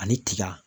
Ani tiga